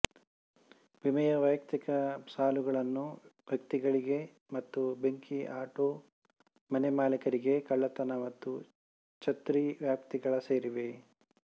ವಿಮೆಯ ವೈಯಕ್ತಿಕ ಸಾಲುಗಳನ್ನು ವ್ಯಕ್ತಿಗಳಿಗೆ ಮತ್ತು ಬೆಂಕಿ ಆಟೋ ಮನೆಮಾಲೀಕರಿಗೆ ಕಳ್ಳತನ ಮತ್ತು ಛತ್ರಿ ವ್ಯಾಪ್ತಿಗಳ ಸೇರಿವೆ